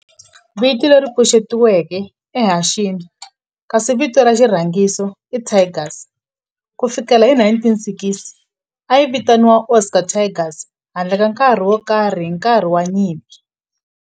Vito leri pfuxetiweke i Hanshin kasi vito ra xirhangiso i Tigers. Ku fikela hi 1960, a yi vitaniwa Osaka Tigers handle ka nkarhi wo karhi hi nkarhi wa nyimpi.